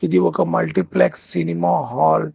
ఇది ఒక multiplex cinema hall .